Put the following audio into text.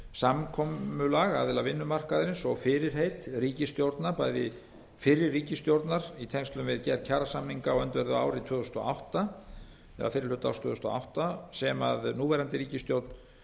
samkomulag aðila vinnumarkaðarins og fyrirheit ríkisstjórna bæði fyrri ríkisstjórnar í tengslum við gerð kjarasamninga á öndverðu ári tvö þúsund og átta eða fyrri hluta árs tvö þúsund og átta sem núverandi ríkisstjórn